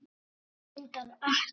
Svo er reyndar ekki.